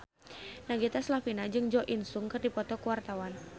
Nagita Slavina jeung Jo In Sung keur dipoto ku wartawan